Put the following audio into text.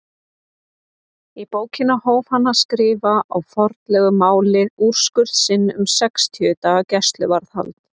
Í bókina hóf hann að skrifa á formlegu máli úrskurð sinn um sextíu daga gæsluvarðhald.